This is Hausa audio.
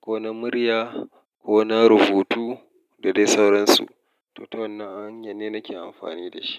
ko na murya ko na rubutu da dai sauransu. To, wannan hanyar ne nake amfani da shi.